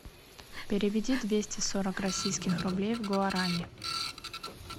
переведи двести сорок российских рублей в гуарани